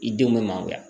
I denw bɛ mangoroya